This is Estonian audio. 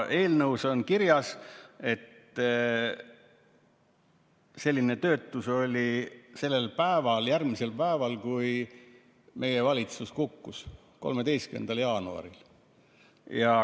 Eelnõus on kirjas, et selline töötus oli järgmisel päeval, kui meie valitsus kukkus, 13. jaanuaril.